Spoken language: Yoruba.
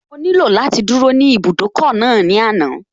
Mo nílò láti dúró ní ibùdókọ̀ náà ní àná